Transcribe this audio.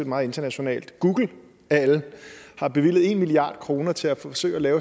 meget internationalt google af alle har bevilget en milliard kroner til at forsøge at lave